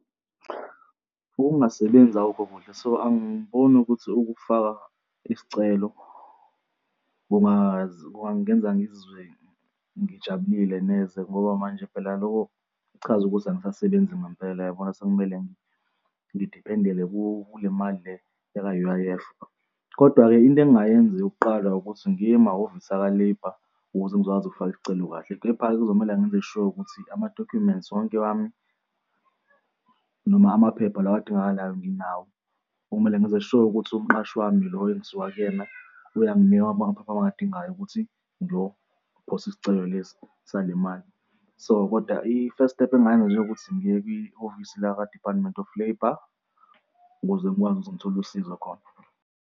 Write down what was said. Ukungasebenzi akukhokudla so angiboni ukuthi ukufaka isicelo kungaze kungangenza ngizizwe ngijabulile neze ngoba manje phela loko kuchaza ukuthi angisasebenzi ngempela, yabona? Sekumele ngidiphendele kule mali le yaka-U_I_F. Kodwa-ke into engingayenza yokuqala ukuthi ngiye emahhovisi aka-labour ukuze ngizokwazi ukufaka isicelo kahle. Kepha-ke kuzomele ngenze sure ukuthi amadokhumenti sonke wami noma amaphepha lawa adingakalayo nginawo, okumele ngenze sure ukuthi umqashi wami lo engisuka kuyena uyanginika amaphepha engiwadingayo ukuthi ngiyophosa isicelo lesi sale mali. So, kodwa i-first step engingayenza nje engokuthi ngiye kwihhovisi lakwa-Department of Labour ukuze ngikwazi ukuthi ngithole usizo khona.